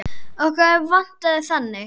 Okkur vantaði þannig.